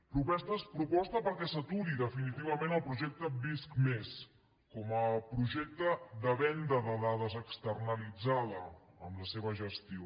proposta perquè s’aturi definitivament el projecte visc+ com a projecte de venda de dades externalitzada en la seva gestió